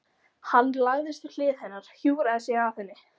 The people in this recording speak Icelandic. Hann lagðist við hlið hennar, hjúfraði sig að henni.